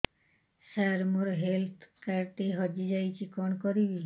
ସାର ମୋର health card ଟି ହଜି ଯାଇଛି କଣ କରିବି